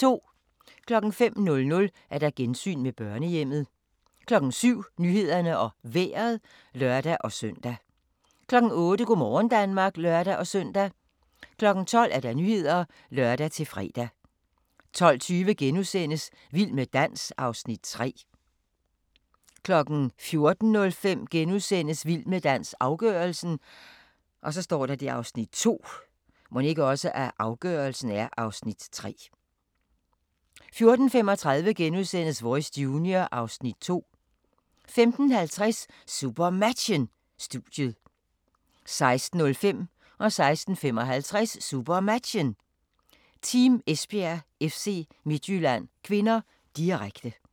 05:00: Gensyn med børnehjemmet 07:00: Nyhederne og Vejret (lør-søn) 08:00: Go' morgen Danmark (lør-søn) 12:00: Nyhederne (lør-fre) 12:20: Vild med dans (Afs. 3)* 14:05: Vild med dans – afgørelsen (Afs. 2)* 14:35: Voice Junior (Afs. 2)* 15:50: SuperMatchen: Studiet 16:05: SuperMatchen: Team Esbjerg-FC Midtjylland (k), direkte 16:55: SuperMatchen: Team Esbjerg-FC Midtjylland (k), direkte